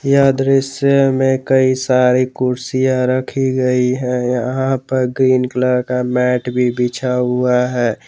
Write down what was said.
यह दृश्य में कई सारी कुर्सियां रखी गई है यहां पर ग्रीन कलर का मैट भी बढ़ा हुआ है।